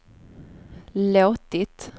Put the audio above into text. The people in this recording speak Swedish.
låtit